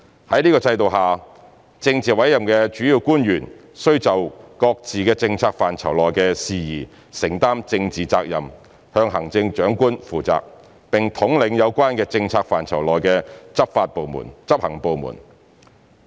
在這制度下，政治委任的主要官員須就各自政策範疇內的事宜承擔政治責任，向行政長官負責，並統領有關政策範疇內的執行部門。